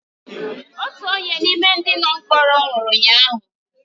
Otu onye n’ime ndị nọ mkpọrọ nwụrụ ụnyahụ